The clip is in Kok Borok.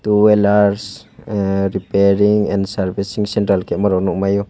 two wheels repairing and servicing centre kaima rok no nog mai o.